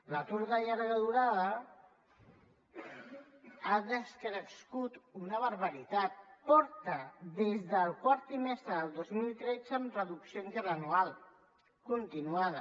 l’atur de llarga durada ha decrescut una barbaritat des del quart trimestre del dos mil tretze està en reducció interanual continuada